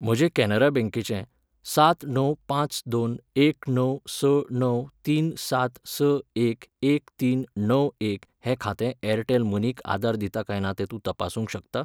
म्हजें कॅनरा बँकेचें, सात णव पांच दोन एक णव स णव तीन सात स एक एक तीन णव एक हें खातें एअरटेल मनीक आदार दिता काय ना तें तूं तपासूंक शकता?